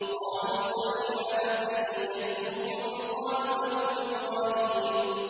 قَالُوا سَمِعْنَا فَتًى يَذْكُرُهُمْ يُقَالُ لَهُ إِبْرَاهِيمُ